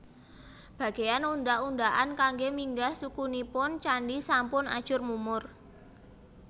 Bagéyan undhak undhakan kanggé minggah suku nipun candhi sampun ajur mumur